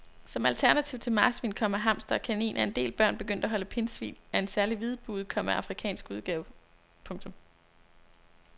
Som alternativ til marsvin, komma hamster og kanin er en del børn begyndt at holde pindsvin af en særlig hvidbuget, komma afrikansk udgave. punktum